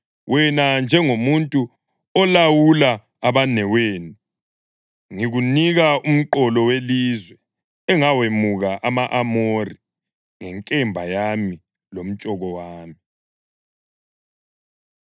Wena, njengomuntu olawula abanewenu, ngikunika umqolo welizwe engawemuka ama-Amori ngenkemba yami lomtshoko wami.”